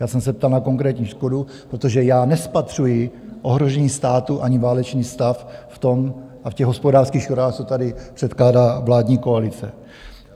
Já jsem se ptal na konkrétní škodu, protože já nespatřuji ohrožení státu ani válečný stav v tom a v těch hospodářských škodách, co tady předkládá vládní koalice.